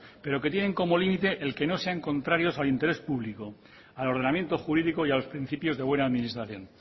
pero que tienen como límite el que no sean contrarios al interés público al ordenamiento jurídico y a los principios de buena administración